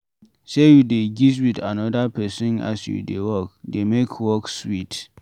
Sey you dey gist with another person as you dey work dey make work sweet